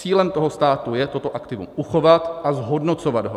Cílem toho státu je toto aktivum uchovat a zhodnocovat ho.